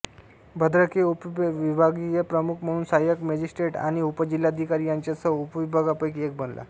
भद्रक हे उपविभागीय प्रमुख म्हणून सहायक मजिस्ट्रेट आणि उपजिल्हाधिकारी यांच्यासह उपविभागांपैकी एक बनला